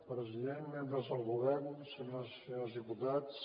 president membres del govern senyores i senyors diputats